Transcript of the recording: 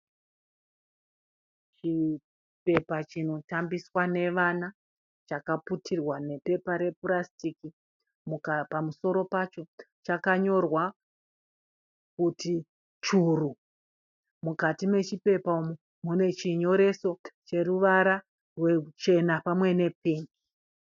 Chipepa chinotambiswa nevana chakaputirwa nepepa repurasitiki. Pamusoro pacho chakanyorwa kuti churu. Mukati mechipepa umu mune chinyoreso cheruvara ruchena pamwe nepeni.